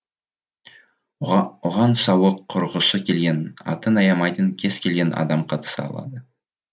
оған сауық құрғысы келген атын аямайтын кез келген адам қатыса алады